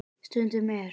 Stundum er